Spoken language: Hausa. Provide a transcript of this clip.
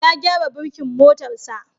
Ya gyara burkin motarsa.